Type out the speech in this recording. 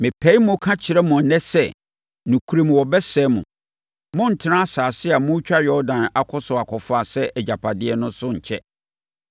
mepae mu ka kyerɛ mo ɛnnɛ sɛ, nokorɛm wɔbɛsɛe mo; morentena asase a moretwa Yordan akɔ so akɔfa sɛ agyapadeɛ no so nkyɛ.